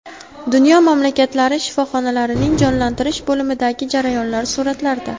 Dunyo mamlakatlari shifoxonalarining jonlantirish bo‘limidagi jarayonlar suratlarda.